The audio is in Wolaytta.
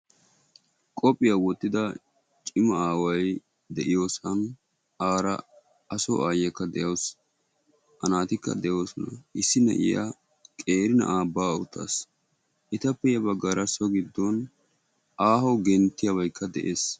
Qophphiya wottida ciima aaway deiyosan ara aso aayiyaka deawusu. A naatika deosona. Issi na'aiya qeeri na'aa ba'a uttasu. Etapee ya baggara ahoo genttiyabayka de'ees.